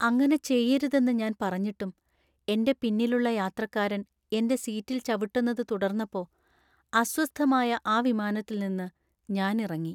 അങ്ങനെ ചെയ്യരുതെന്ന് ഞാൻ പറഞ്ഞിട്ടും എന്‍റെ പിന്നിലുള്ള യാത്രക്കാരൻ എന്‍റെ സീറ്റിൽ ചവിട്ടുന്നത് തുടർന്നപ്പോ അസ്വസ്ഥമായ ആ വിമാനത്തിൽ നിന്ന് ഞാൻ ഇറങ്ങി .